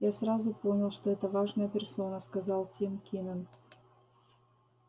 я сразу понял что это важная персона сказал тим кинен